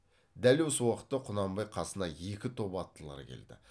дәл осы уақытта құнанбай қасына екі топ аттылар келді